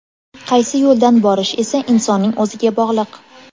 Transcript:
Qaysi yo‘ldan borish esa insonning o‘ziga bog‘liq.